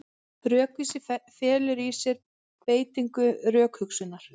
Rökvísi felur í sér beitingu rökhugsunar.